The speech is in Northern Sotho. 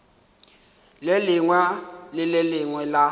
lengwe le le lengwe la